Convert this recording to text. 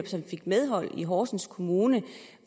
som fik medhold i horsens kommune